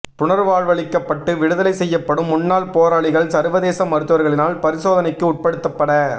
புனர்வாழ்வளிக்கப்பட்டு விடுதலை செய்யப்படும் முன்னாள் போராளிகள் சர்வதேச மருத்துவர்களினால் பரிசோதனைக்கு உட்படுத்தப்பட